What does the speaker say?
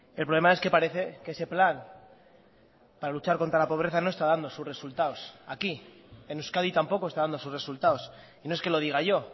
el problema es que parece que ese plan para luchar contra la pobreza no está dando sus resultados aquí en euskadi tampoco está dando sus resultados y no es que lo diga yo